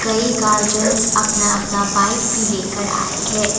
कई गार्जियंस अपना अपना बाइक भी लेकर आए हैं।